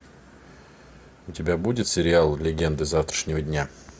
у тебя будет сериал легенды завтрашнего дня